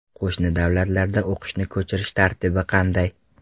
Qo‘shni davlatlardan o‘qishni ko‘chirish tartibi qanday?